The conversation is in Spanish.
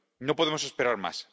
No podemos esperar más.